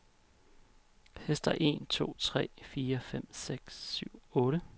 Tester en to tre fire fem seks syv otte.